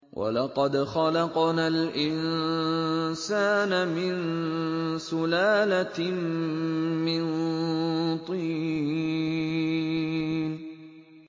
وَلَقَدْ خَلَقْنَا الْإِنسَانَ مِن سُلَالَةٍ مِّن طِينٍ